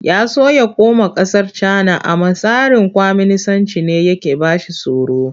Ya so ya koma ƙasar Cana amma tsarin kwaminisancin ne yake ba shi tsoro.